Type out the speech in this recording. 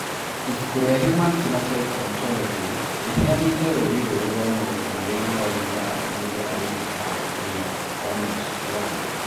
Ibuku rĩa Human Phenotype Ontology rĩheanĩte rũũri rũrũ rwa maũndũ marĩa maronania atĩ mũndũ arĩ na Paragangliomas 1.